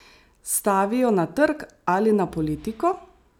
Stavijo na trg ali na politiko?